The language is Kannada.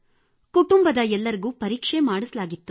ಕುಟುಂಬದ ಎಲ್ಲರಿಗೂ ಪರೀಕ್ಷೆ ಮಾಡಿಸಲಾಗಿತ್ತು